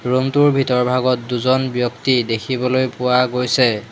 Room টোৰ ভিতৰভাগত দুজন ব্যক্তি দেখিবলৈ পোৱা গৈছে।